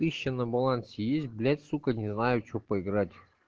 тыща на балансе есть блять сука не знаю что поиграть